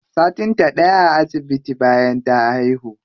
Satin ta ɗaya a asibitin bayan ta haihu.